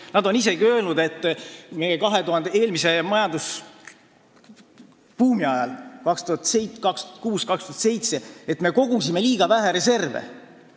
Nad on isegi seda öelnud, et me kogusime eelmise majandusbuumi ajal, 2006–2007, liiga vähe reserve.